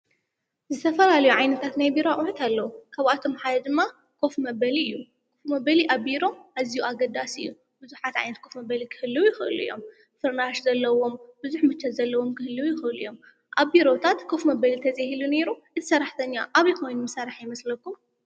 ዝተፈላለዩ ዓይነት ናይ ቢሮ ኣቑሑ ኣለዉ፡፡ ካብኣቶም ሓደ ድማ ኮፍ መበል እዩ፡፡ ክፍ መበሊ ኣብ ቢሮ ኣዝዩ ኣገዳሲ እዩ፡፡ ብዙሓት ዓይንት ኮፍ መበሊ ክህልው ይኽሉ እዮም፡፡ ፍርናሽ ዘለዎም፣ ብዙሕ ምቾት ዘለዎም ክህልዩ ይኽሉ እዮም፡፡ ኣብ ቢሮታት ከፍ መበሊ ተዘይህሉ ነይሩ እቲ ሰራሕተኛ ኣበይ ኮይኑ ምሰርሐ ይመስለኩም?